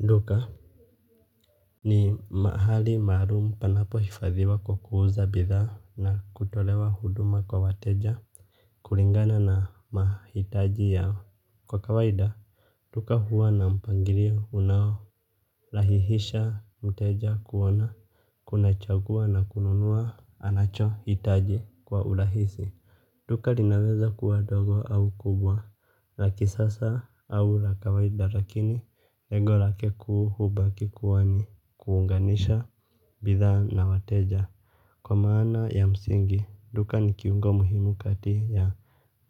Duka ni mahali maalum panapohifadhiwa kwa kuuza bidhaa na kutolewa huduma kwa wateja kulingana na mahitaji yao. Kwa kawaida, duka huwa na mpangilio unaorahihisha mteja kuona, kuchagua na kununua anachohitaji kwa urahisi. Duka linaweza kuwa dogo au kubwa, la kisasa au la kawaida lakini lengo lake hubaki kuwa ni kuunganisha bidhaa na wateja. Kwa maana ya msingi, duka ni kiungo muhimu kati ya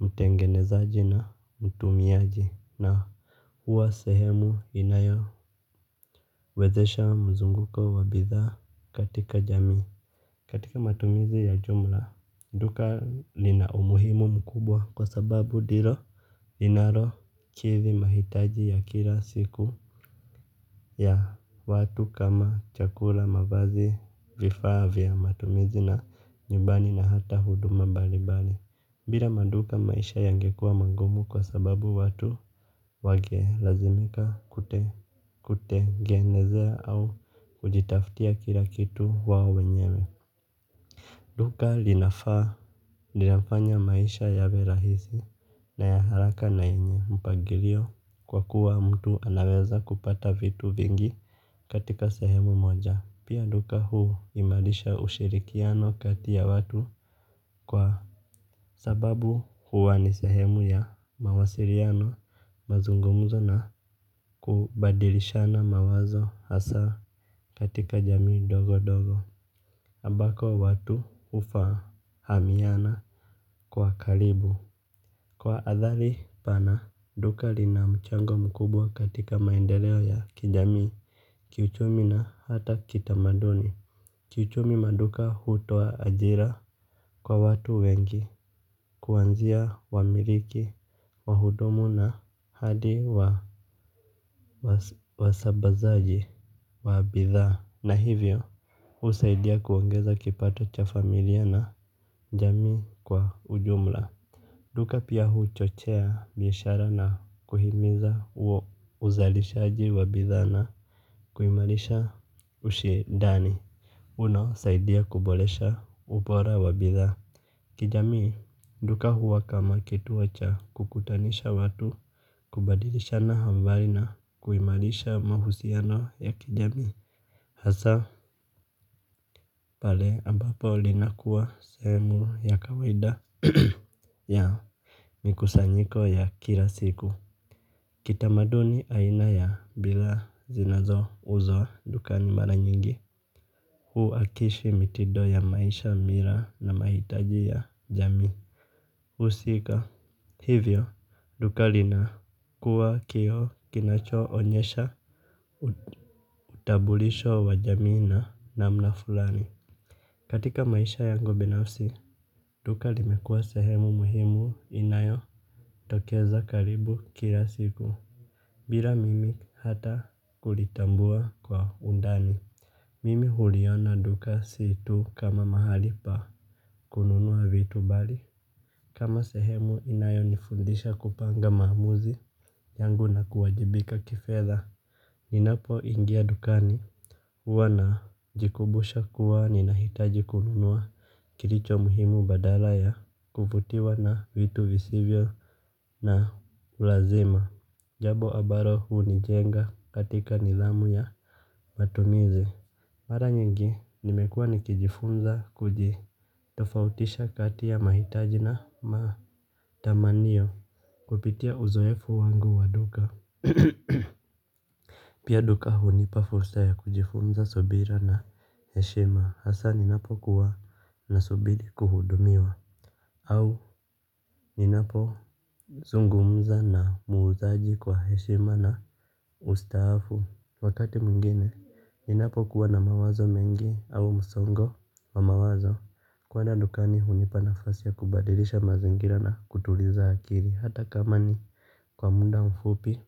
mtengenezaji na mtumiaji na huwa sehemu inayowezesha mzunguko wa bidhaa katika jamii. Katika matumizi ya jumla, duka lina umuhimu mkubwa kwa sababu ndilo linalokidhi mahitaji ya kila siku ya watu kama chakula, mavazi, vifaa vya matumizi nyumbani na hata huduma mbali mbali. Bila maduka maisha yangekua magumu kwa sababu watu wangelazimika kujitengenezea au kujitaftia kila kitu wao wenyewe. Duka linafanya maisha yawe rahisi na ya haraka na yenye mpagilio kwa kuwa mtu anaweza kupata vitu vingi katika sehemu moja. Pia duka huimarisha ushirikiano kati ya watu kwa sababu huwa ni sehemu ya mawasiliano, mazungumzo na kubadilishana mawazo hasa katika jamii ndogo ndogo. Ambako watu hufahamiana kwa karibu. Kwa athari pana duka lina mchango mkubwa katika maendeleo ya kijamii, kiuchumi na hata kitamaduni. Kiuchumi, maduka hutoa ajira kwa watu wengi. Kuanzia wamiliki, wahudumu na hadi wasambazaji wa bidhaa na hivyo husaidia kuongeza kipato cha familia na jamii kwa ujumla. Duka pia huchochea biashara na kuhimiza huo uzalishaji wa bidhaa na kuimarisha ushindani unaosaidia kuboresha ubora wa bidhaa. Kijamii, duka huwa kama kituo cha kukutanisha watu, kubadilisha habari na kuimarisha mahusiano ya kijamii. Hasaa pale ambapo linakuwa sehemu ya kawaida ya mikusanyiko ya kila siku. Kitamaduni aina ya bidhaa zinazouzwa dukani mara nyingi huakishi mitindo ya maisha, mila na mahitaji ya jamii husika. Hivyo duka linakuwa kioo kinachoonyesha utambulisho wa jamii na namna fulani. Katika maisha yangu binafsi, duka limekuwa sehemu muhimu inayotokeza karibu kila siku. Bila mimi hata kulitambua kwa undani mimi huliona duka si tu kama mahali pa kununua vitu bali kama sehemu inayonifundisha kupanga maamuzi yangu na kuwajibika kifedha. Ninapoingia dukani, huwa najikumbusha kuwa ninahitaji kununua kilicho muhimu badala ya kuvutiwa na vitu visivyo na ulazima. Jambo ambalo hunijenga katika nidhamu ya matumizi. Mara nyingi nimekuwa nikijifunza kujitofautisha kati ya mahitaji na matamanio kupitia uzoefu wangu wa duka. Pia duka hunipa fursa ya kujifunza subira na heshima, hasa ninapokuwa nasubiri kuhudumiwa au ninapozungumza na muuzaji kwa heshima na ustaafu. Wakati mwingine ninapokuwa na mawazo mengi au msongo wa mawazo, kuenda dukani hunipa nafasi ya kubadilisha mazingira na kutuliza akiri hata kama ni kwa muda mfupi.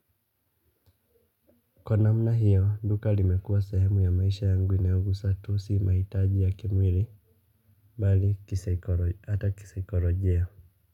Kwa namna hio, duka limekuwa sahemu ya maisha yangu inayogusa tu si mahitaji ya kimwili, bali ata kisaikolojia.